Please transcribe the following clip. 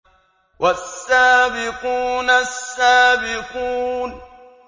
وَالسَّابِقُونَ السَّابِقُونَ